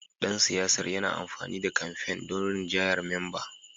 Dan siyasar yana amfani da kamfen don rinjayar memba